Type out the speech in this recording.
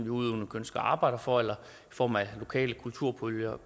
udøvende kunstnere arbejder for eller i form af lokale kulturpuljer